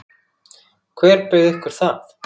Hver bauð ykkur það?